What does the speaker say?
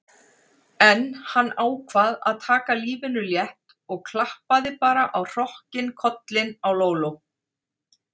En hann ákvað að taka lífinu létt og klappaði bara á hrokkinn kollinn á Lóló.